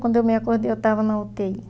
Quando eu me acordei, eu estava na u tê i.